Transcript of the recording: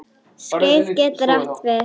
Skeið getur átt við